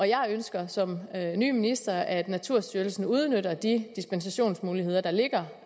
jeg ønsker som ny minister at naturstyrelsen udnytter de dispensationsmuligheder der ligger